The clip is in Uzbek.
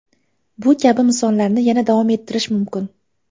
Bu kabi misollarni yana davom ettirish mumkin.